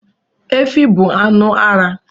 Efi bụ anu ara